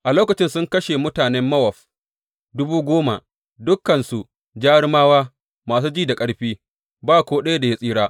A lokacin sun kashe mutanen Mowab dubu goma, dukansu jarumawa da masu ji da ƙarfi; ba ko ɗaya da ya tsira.